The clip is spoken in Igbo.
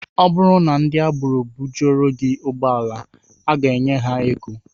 Ọ bụrụ na ndị agbero bujuoro gị ụgbọala, I ga-enye ha ego